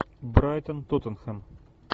брайтон тоттенхэм